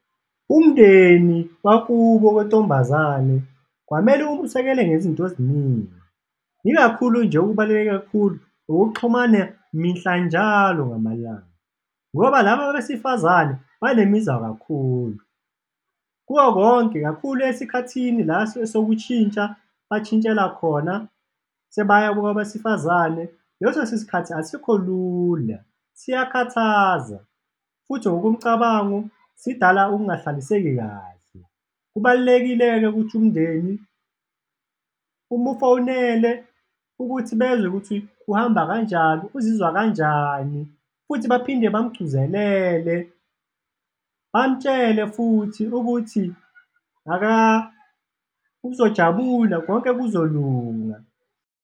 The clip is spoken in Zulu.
Umndeni wakubo kwentombazane kwamele umusekele ngezinto eziningi, ikakhulu nje okubaluleke kakhulu ukuxhumana mihla njalo ngamalanga ngoba laba abesifazane banemizwa kakhulu. Kuko konke, kakhulu esikhathini la esuke sokushintsha, bashintshela khona sebaya kwabesifazane, leso sikhathi asikho lula, siyakhathaza futhi ngokomcabango, sidala ukungahlaliseki kahle. Kubalulekile-ke ukuthi umndeni umufonele ukuthi bezwe ukuthi kuhamba kanjani, uzizwa kanjani futhi baphinde bamgquzelele, bamutshele futhi ukuthi uzojabula, konke kuzolunga.